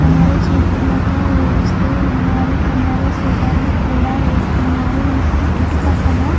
కొందరు చీపుర్లతో ఊడుస్తూ ఉన్నారు.కొందరు స్వెటర్లు కూడా వేసుకున్నారు.ఇటు పక్కన--